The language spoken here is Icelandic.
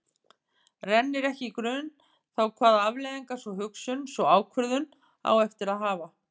Rennir ekki í grun þá hvaða afleiðingar sú hugsun, sú ákvörðun, á eftir að hafa.